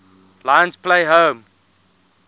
lions play home